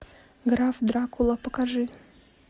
граф дракула покажи